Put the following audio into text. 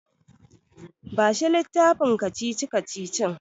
Bashi littafin kacici-kacicicin.